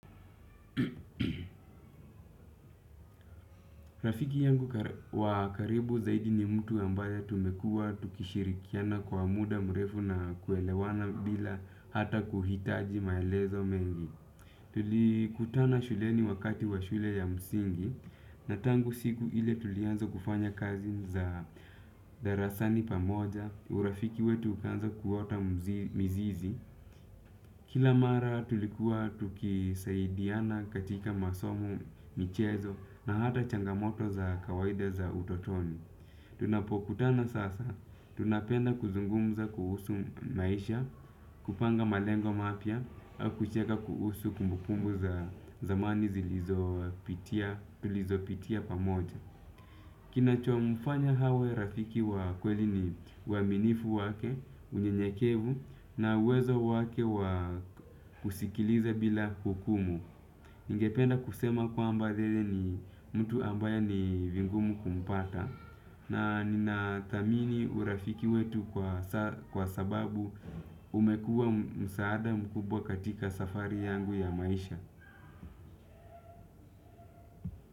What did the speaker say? Rafiki yangu wa karibu zaidi ni mtu ambaye tumekua tukishirikiana kwa muda mrefu na kuelewana bila hata kuhitaji maelezo mengi. Tulikutana shuleni wakati wa shule ya msingi na tangu siku ile tulianza kufanya kazi za darasani pamoja. Urafiki wetu ukaanza kuota mizizi. Kila mara tulikuwa tukisaidiana katika masomo, michezo na hata changamoto za kawaida za utotoni. Tunapokutana sasa tunapenda kuzungumza kuhusu maisha. Kupanga malengo mapya, au kucheka kuhusu kumbukumbu za zamani tulizopitia pamoja. Kinachomfanya awe rafiki wa kweli ni uaminifu wake, unyenyekevu na uwezo wake wa kusikiliza bila hukumu. Ningependa kusema kwamba yeye ni mtu ambaye ni vigumu kumpata. Na ninathamini urafiki wetu kwa sababu umekuwa msaada mkubwa katika safari yangu ya maisha.